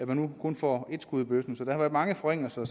man nu kun får et skud i bøssen så der er mange forringelser